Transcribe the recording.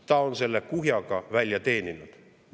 Ta on selle kuhjaga välja teeninud.